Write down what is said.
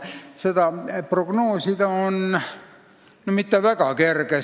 Täpselt prognoosida ei ole väga kerge.